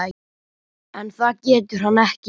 En það getur hann ekki.